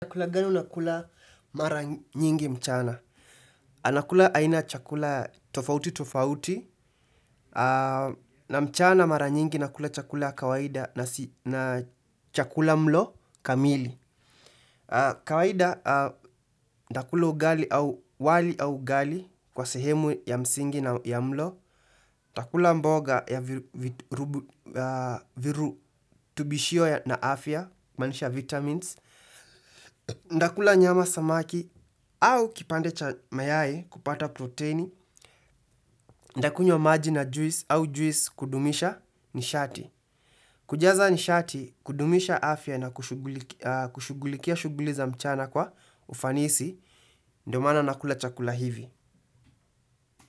Chakula gani unakula mara nyingi mchana. Nakula aina chakula tofauti tofauti. Na mchana mara nyingi nakula chakula kawaida na chakula mlo kamili. Kawaida nitakula ugali au wali au ugali kwa sehemu ya msingi na ya mlo. Nitakula mboga ya viru tubishio na afya kumaanisha vitamins. Ndakula nyama samaki au kipande cha mayai kupata proteini. Ndakunywa maji na juice au juice kudumisha nishati. Kujaza nishati kudumisha afya na kushughulikia shughuli za mchana kwa ufanisi. Ndomaana nakula chakula hivi.